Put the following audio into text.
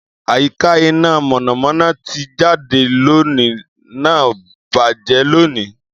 Àyíká iná mọ̀nàmọ́ná ti jáde loni náà bàjẹ́ loni